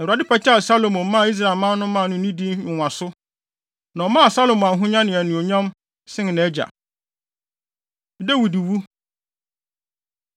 Na Awurade pagyaw Salomo maa Israelman no maa no nidi nwonwaso, na ɔmaa Salomo ahonya ne anuonyam sen nʼagya. Dawid Wu